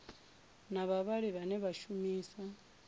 na vhavhali vhane vha shumisa